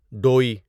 ڈوٮٔی